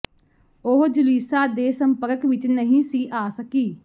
ਉਹ ਜੁਲੀਸਾ ਦੇ ਸੰਪਰਕ ਵਿਚ ਨਹੀਂ ਸੀ ਆ ਸਕੀ